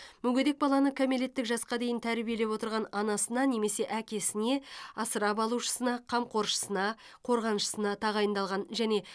мүгедек баланы кәмелеттік жасқа дейін тәрбиелеп отырған анасына немесе әкесіне асырап алушысына қамқоршысына қорғаншысына тағайындалған және